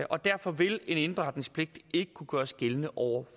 og derfor vil en indberetningspligt ikke kunne gøres gældende over